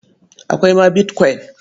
Akwai ma bitkwain.